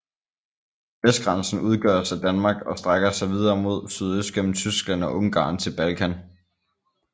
Vestgrænsen udgøres af Danmark og strækker sig videre mod sydøst gennem Tyskland og Ungarn til Balkan